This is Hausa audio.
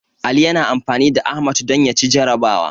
Ali yana amfani da Ahmad don ya ci jarrabawa.